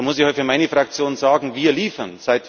Und da muss ich für meine Fraktion sagen Wir liefern!